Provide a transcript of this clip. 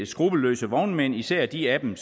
skruppelløse vognmænd især de af dem